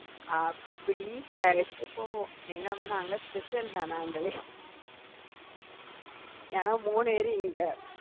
அப்படி வேலைக்கு போவோம் எங்களை மட்டும், நாங்க special தான் நாங்களே ஏன்னா மூணு பேரு இங்க